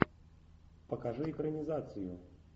покажи экранизацию